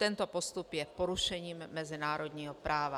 Tento postup je porušením mezinárodního práva.